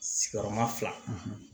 Sigiyɔrɔma fila